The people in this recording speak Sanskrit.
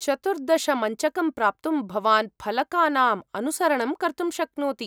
चतुर्दश मञ्चकं प्राप्तुं भवान् फलकानाम् अनुसरणं कर्तुं शक्नोति।